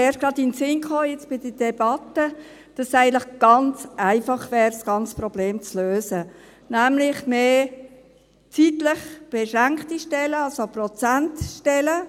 Mir kam erst gerade jetzt, während der Debatte, in den Sinn, dass es eigentlich ganz einfach wäre, das ganze Problem zu lösen, nämlich mit mehr zeitlich beschränkten Stellen, also Prozentstellen.